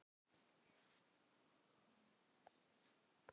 Daginn sem ég dó úr sælu.